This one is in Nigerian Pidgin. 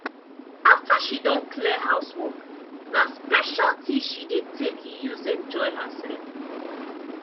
after she don clear housework na special tea she dey tek use enjoy herself.